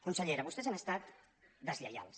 consellera vostès han estat deslleials